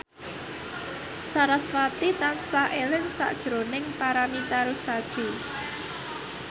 sarasvati tansah eling sakjroning Paramitha Rusady